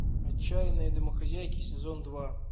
отчаянные домохозяйки сезон два